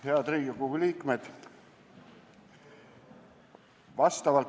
Head Riigikogu liikmed!